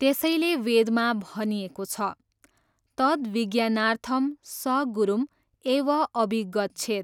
त्यसैले वेदमा भनिएको छ, तद् विज्ञानार्थं स गुरुम् एव अभिगच्छेत्।